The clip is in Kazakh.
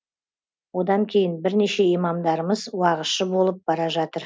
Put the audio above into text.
одан кейін бірнеше имамдарымыз уағызшы болып бара жатыр